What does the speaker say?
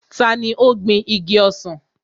Tani ó gbin igi ọsàn?